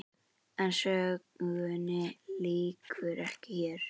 En sögunni lýkur ekki hér.